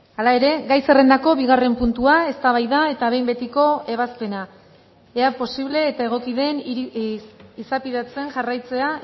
hala ere gai zerrendako bigarren puntua eztabaida eta behin betiko ebazpena ea posible eta egoki den izapidetzen jarraitzea